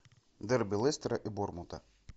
дерби лестера и борнмута